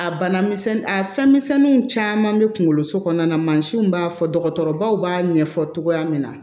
A bana misɛnnin a fɛnmisɛnniw caman bɛ kunkolo so kɔnɔna na mansinw b'a fɔ dɔgɔtɔrɔbaw b'a ɲɛfɔ cogoya min na